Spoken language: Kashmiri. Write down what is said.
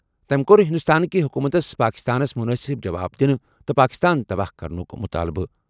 تمہِ كو٘ر ہِنٛدوستٲنکہِ حُکوٗمتس پٲکِستانس مُنٲسِب جواب دِنہٕ تہٕ پٲکِستان تباہ کرنُک مُطالبہٕ۔